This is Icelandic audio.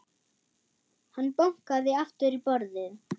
Hann bankaði aftur í borðið.